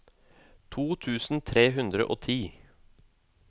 to tusen tre hundre og ti